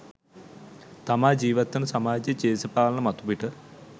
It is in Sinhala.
තමා ජීවත් වන සමාජයේ දේශපාලන මතුපිට